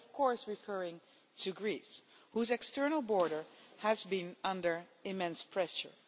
I am of course referring to Greece, whose external border has been under immense pressure.